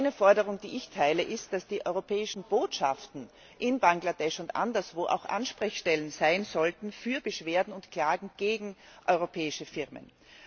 Eine Forderung, die ich teile, ist, dass die europäischen Botschaften in Bangladesch und anderswo auch Ansprechstellen sein sollten für Beschwerden und Klagen gegen europäische Firmen.